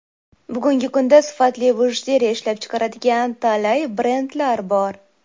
Bugungi kunda sifatli bijuteriya ishlab chiqaradigan talay brendlar bor.